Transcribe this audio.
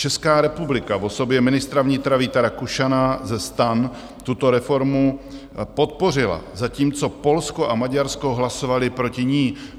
Česká republika v osobě ministra vnitra Víta Rakušana ze STAN tuto reformu podpořila, zatímco Polsko a Maďarsko hlasovaly proti ní.